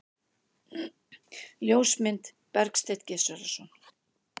Ljósmynd: Bergsteinn Gizurarson.